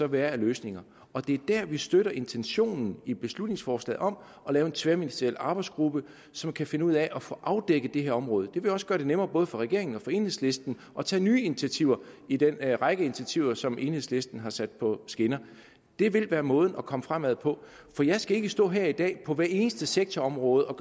være af løsninger der støtter vi intentionen i beslutningsforslaget om at lave en tværministeriel arbejdsgruppe som kan finde ud af at få afdækket det her område det vil også gøre det nemmere for både regeringen og enhedslisten at tage nye initiativer i den række af initiativer som enhedslisten har sat på skinner det vil være måden at komme fremad på jeg skal ikke stå her i dag og på hver eneste sektorområde